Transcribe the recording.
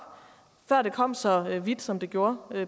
før det kom så vidt som det gjorde